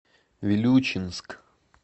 вилючинск